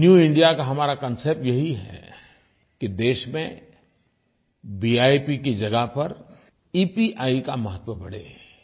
new India का हमारा concept यही है कि देश में विप की जगह पर ईपीआई का महत्व बढ़े